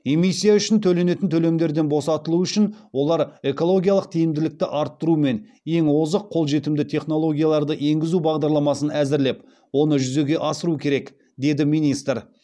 эмиссия үшін төленетін төлемдерден босатылуы үшін олар экологиялық тиімділікті арттыру мен ең озық қолжетімді технологияларды енгізу бағдарламасын әзірлеп оны жүзеге асыру керек деді министр